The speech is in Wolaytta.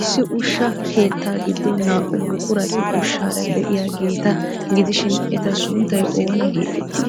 Issi ushsha keettaa giddon naa''u buqurati ushshaara de'iyaageeta gidishin, eta sunttay oona geeteettii?